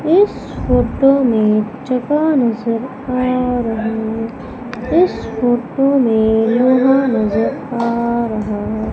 इस फोटो में जगह नजर आ रहा इस फोटो मे लोहा नजर आ रहा --